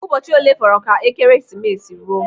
Ụbọchị olee fọrọ ka Ekeresimesi ruo?